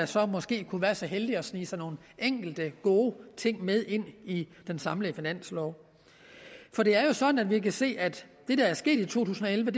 så måske kunne være så heldige at sneget sig nogle enkelte gode ting med ind i den samlede finanslov for det er jo sådan at vi kan se at det der er sket i to tusind og elleve